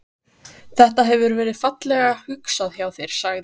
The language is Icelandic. Þetta. hefur verið fallega hugsað hjá þér sagði